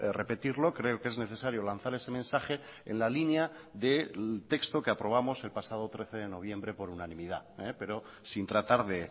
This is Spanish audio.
repetirlo creo que es necesario lanzar ese mensaje en la línea del texto que aprobamos el pasado trece de noviembre por unanimidad pero sin tratar de